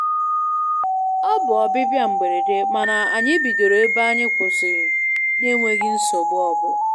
Ọ bụ ọbịbịa mberede, mana anyị bidoro ebe anyị kwụsirị n'enweghi nsogbu obụla.